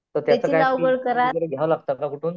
तर त्याच काय घ्यावं लागत का कुठून?